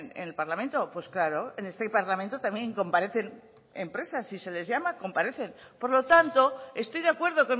en el parlamento pues claro en este parlamento también comparecen empresas si se les llama comparecen por lo tanto estoy de acuerdo